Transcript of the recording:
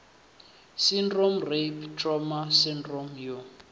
syndrome rape trauma sydrome u